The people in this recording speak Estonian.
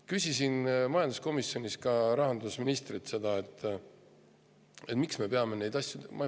Küsisin majanduskomisjonis rahandusministrilt ka seda, miks me peame neid asju loksutama.